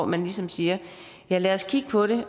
man ligesom siger ja lad os kigge på det